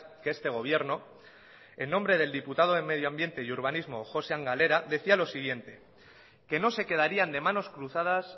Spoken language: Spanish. que este gobierno en nombre del diputado de medio ambiente y urbanismo josean galera decía lo siguiente que no se quedarían de manos cruzadas